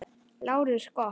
LÁRUS: Gott.